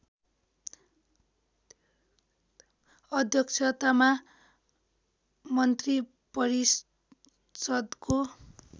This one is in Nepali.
अध्यक्षतामा मन्त्रिपरिषदको